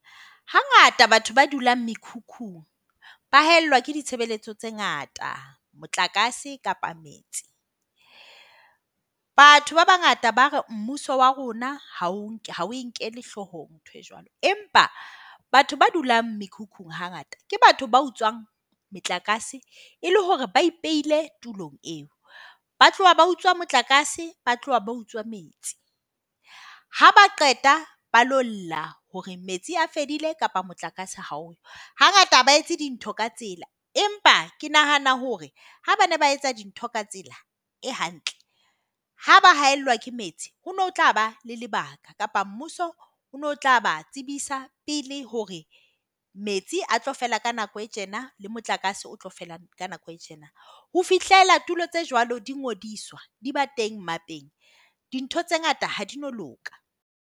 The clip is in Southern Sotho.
Hangata batho ba dulang mekhukhung ba haellwa ke ditshebeletso tse ngata, motlakase kapa metsi. Batho ba bangata ba re mmuso wa rona ha o inkele hloohong nthoe joalo , empa batho ba dulang mekhukhung hangata ke batho ba utswang motlakase e le hore ba ipehile tulong eo. Ba tloha ba utswa motlakase, ba tloha ba utswa metsi. Ha ba qeta ba ilo lla hore metsi a fedile kapa motlakase ha o yo. Hangata ba ha etse dintho ka tsela, empa ke nahana hore ha ba ne ba etsa dintho ka tsela e hantle, ha ba haellwa ke metsi, ho ne ho tlaba le lebaka kapa mmuso o ne o tla ba tsebisa pele hore metsi a tlo fela ka nako e tjena le motlakase o tlo fela ka nako e tjena. Ho fihlela tulo tse jwalo di ngodiswa, di ba teng mmapeng, dintho tse ngata ha di na loka.